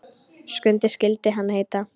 Skundi skyldi hann heita.